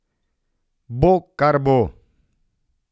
Bo, kar bo.